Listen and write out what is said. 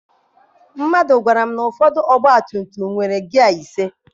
Mmadụ gwara m na ụfọdụ ọgba tum tum nwere gịya ise.